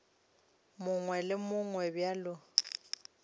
mongwe le wo mongwe bjalo